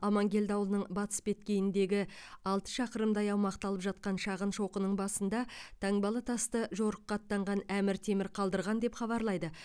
аманкелді ауылының батыс беткейіндегі алты шақырымдай аумақты алып жатқан шағын шоқының басында таңбалы тасты жорыққа аттанған әмір темір қалдырған деп хабарлайды